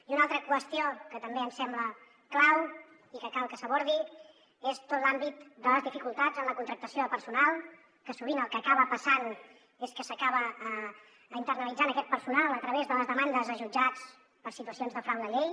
i una altra qüestió que també ens sembla clau i que cal que s’abordi és tot l’àmbit de les dificultats en la contractació de personal que sovint el que acaba passant és que s’acaba internalitzant aquest personal a través de les demandes a jutjats per situacions de frau de llei